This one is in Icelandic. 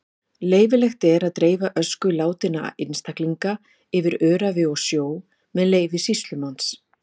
Leyfilegt er að dreifa ösku látinna einstaklinga yfir öræfi og sjó með leyfi sýslumanns.